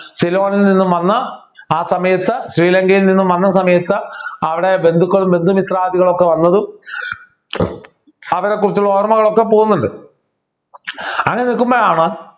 സിലോണിൽ നിന്നും വന്ന് ആ സമയത്ത് ശ്രീലങ്കയിൽ നിന്നും വന്ന സമയത്ത് അവിടെ ബന്ധുക്കളും ബന്ധുമിത്രാദികളും ഒക്കെ വന്നതും അവരെ കുറിച്ചുള്ള ഓർമ്മകൾ ഒക്കെ പോകുന്നുണ്ട് അങ്ങനെ നിൽക്കുമ്പോഴാണ്